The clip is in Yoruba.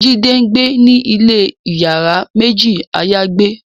Jim ngbẹ ní ilè iyàrá méjì ayagbe